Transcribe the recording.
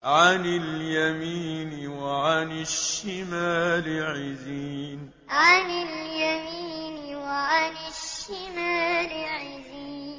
عَنِ الْيَمِينِ وَعَنِ الشِّمَالِ عِزِينَ عَنِ الْيَمِينِ وَعَنِ الشِّمَالِ عِزِينَ